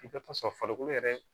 I bɛ t'a sɔrɔ farikolo yɛrɛ